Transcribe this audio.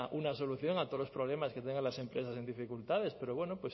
una solución a todos los problemas que tengan las empresas en dificultades pero bueno